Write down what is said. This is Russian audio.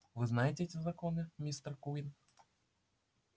вы знаете эти законы мистер куинн